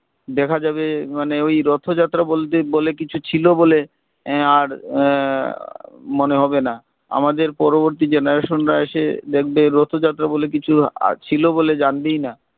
দেখা যাবে মানে ওই রথ যাত্রা বলতে বলে কিছু ছিল বলে আহ আর আহ মনে হবে না আমাদের পরবর্তী generation রা এসে দেখবে রথ যাত্রা বলে কিছু আহ ছিলো বলে জানবেই না